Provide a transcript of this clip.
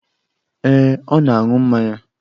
Ee, ọ na-aṅụ mmanya